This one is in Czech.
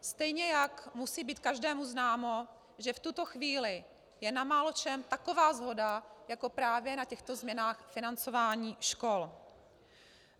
Stejně jak musí být každému známo, že v tuto chvíli je na máločem taková shoda jako právě na těchto změnách financování škol.